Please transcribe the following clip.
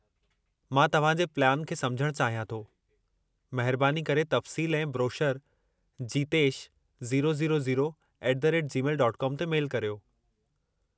मां तव्हां जे प्लैन खे समुझणु चाहियां थो, महिरबानी करे तफ़सील ऐं ब्रोशरु jitesh000@gmail.com ते मेलु करियो।